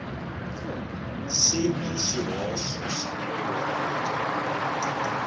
xi na xihoxo xa nkunguhato